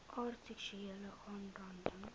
aard seksuele aanranding